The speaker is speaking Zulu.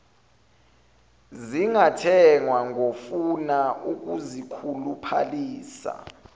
zingathengwa ngofuna ukuzikhuluphalisa